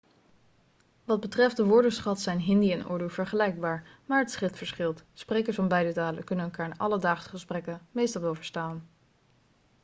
wat betreft de woordenschat zijn hindi en urdu vergelijkbaar maar het schrift verschilt sprekers van beide talen kunnen elkaar in alledaagse gesprekken meestal wel verstaan